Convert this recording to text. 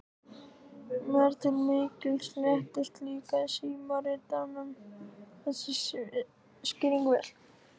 Mér til mikils léttis líkaði símritaranum þessi skýring vel.